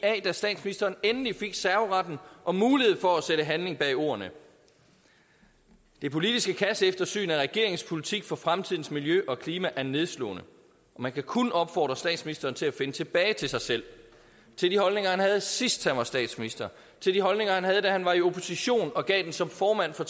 da statsministeren endelig fik serveretten og mulighed for at sætte handling bag ordene det politiske kasseeftersyn af regeringens politik for fremtidens miljø og klima er nedslående og man kan kun opfordre statsministeren til at finde tilbage til sig selv til de holdninger han havde sidst han var statsminister til de holdninger han havde da han var i opposition og gav den som formand for